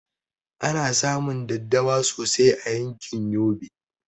Ana samun daddawa sosai a yankin yobe